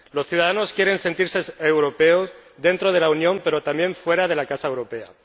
Los ciudadanos quieren sentirse europeos dentro de la Unión, pero también fuera de la casa europea